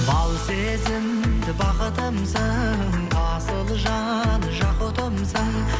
бал сезімді бақытымсың асыл жан жақұтымсың